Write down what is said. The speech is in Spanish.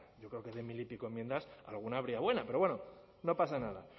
yo creo que de mil y pico enmiendas alguna habría buena pero bueno no pasa nada